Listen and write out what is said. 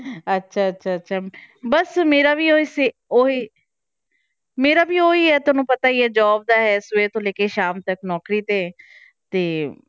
ਅੱਛਾ ਅੱਛਾ ਅੱਛਾ ਬਸ ਮੇਰਾ ਵੀ ਉਹੀ ਸੇ~ ਉਹੀ ਮੇਰਾ ਵੀ ਉਹੀ ਹੈ ਤੁਹਾਨੂੰ ਪਤਾ ਹੀ ਹੈ job ਦਾ ਹੈ ਸਵੇਰ ਤੋਂ ਲੈ ਕੇ ਸ਼ਾਮ ਤੱਕ ਨੌਕਰੀ ਤੇ, ਤੇ